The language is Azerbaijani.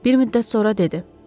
Bir müddət sonra dedi: